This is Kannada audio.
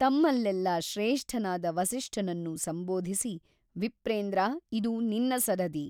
ತಮ್ಮಲ್ಲೆಲ್ಲ ಶ್ರೇಷ್ಠನಾದ ವಸಿಷ್ಠನನ್ನು ಸಂಬೋಧಿಸಿ ವಿಪ್ರೇಂದ್ರ ಇದು ನಿನ್ನ ಸರದಿ.